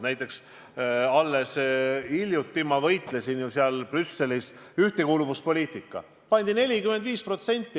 Näiteks alles hiljuti võitlesin ma ju Brüsselis ühtekuuluvuspoliitikaga seoses.